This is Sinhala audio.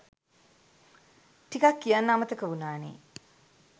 ටිකක් කියන්න අමතක වුනානේ.